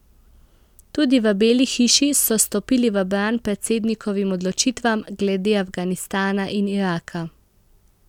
Tudi v Beli hiši so stopili v bran predsednikovim odločitvam glede Afganistana in Iraka.